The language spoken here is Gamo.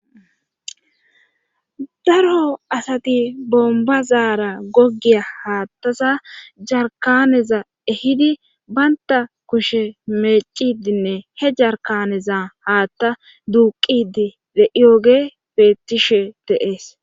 daro asati bomba zaara goggiya haaththasa jarkaneza ehidi baynta kushe meecidinne he jarkaneza haaththa duuqidi de'iyoge beettishe dees